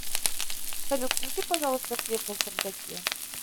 салют включи пожалуйста свет на чердаке